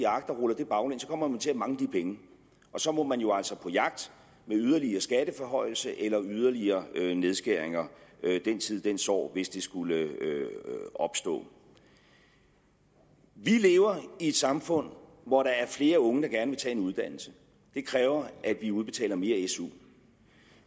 agt og ruller det baglæns kommer man til at mangle de penge og så man jo altså på jagt med yderligere skatteforhøjelser eller yderligere nedskæringer den tid den sorg hvis det skulle opstå vi lever i et samfund hvor der er flere unge der gerne vil tage en uddannelse det kræver at vi udbetaler mere su